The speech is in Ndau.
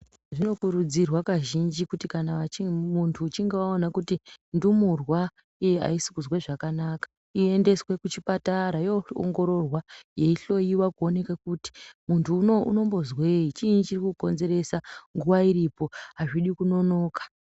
Zvino kurudzirwa kazhinji kuti kana muntu uchinge waona kuti ndumurwa iyi ayisi kuzwe zvakanaka iyendeswe ku chipatara yo ongororwa yei hloyiwa ku oneke kuti muntu unowu unombo zwei chinyi chiri ku konzeresa nguva iripo azvidi kunonoka.